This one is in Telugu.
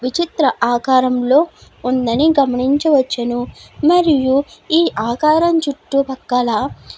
విచిత్ర ఆకారంలో ఉందని గమనించి వచ్చును మరియు ఈ ఆకారం చుట్టుపక్కల --